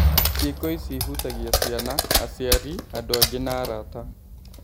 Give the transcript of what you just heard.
Cĩĩko ici ihutagia ciana, aciari, andũ angĩ na arata.